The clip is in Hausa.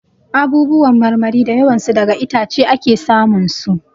Abubuwan marmari da yawan su daga itace ake sa mun su.